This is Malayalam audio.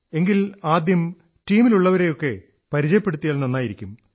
എങ്കിൽ ആദ്യം ടീമിലുള്ളവരെയൊക്കെ പരിചയപ്പെടുത്തിയാൽ നന്നായിരിക്കും